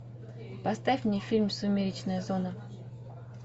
поставь мне фильм сумеречная зона